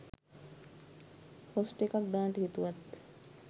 post එකක් දාන්ට හිතුවත්